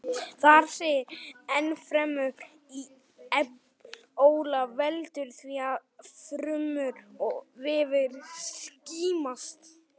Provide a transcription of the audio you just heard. Þar segir ennfremur: Ebóla veldur því að frumur og vefir skemmast.